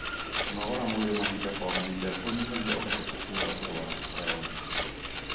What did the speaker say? Kũnogora mwĩrĩ mahinda kwa mahinda nĩkũnyihagia ũhotekeku wa kũrwara cukari.